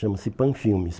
Chama-se Panfilmes.